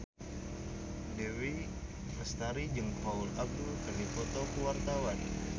Dewi Lestari jeung Paula Abdul keur dipoto ku wartawan